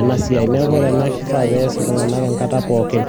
ena siai. Neeku ore ena kifaa nees iltung'anak enkata pookin